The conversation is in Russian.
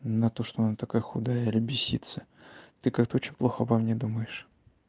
на то что она такая худая или беситься ты как-то очень плохо обо мне думаешь